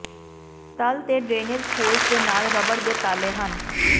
ਤਲ ਤੇ drainage holes ਦੇ ਨਾਲ ਰਬੜ ਦੇ ਤਾਲੇ ਹਨ